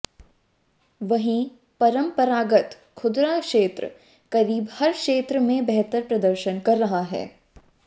वहीं परंपरागत खुदरा क्षेत्र करीब हर क्षेत्र में बेहतर प्रदर्शन कर रहा है